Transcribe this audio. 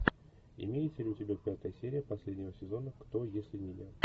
имеется ли у тебя пятая серия последнего сезона кто если не я